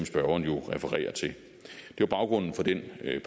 spørgeren jo refererer til det var baggrunden for den